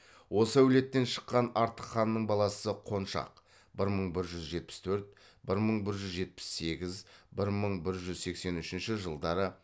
осы әулеттен шыққан артық ханның баласы қоншақ бір мың бір жүз жетпіс төрт бір мың бір жүз жетпіс сегіз бір мың бір жүз сексен үшінші жылдары